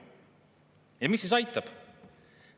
Ja mis siis aitab?